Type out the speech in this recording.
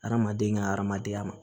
Hadamaden ka hadamadenya ma